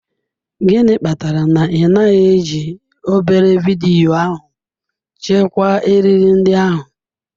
Gịnị kpatara na ị naghị eji obere vidiyo ahụ chekwaa eriri ndị ahụ?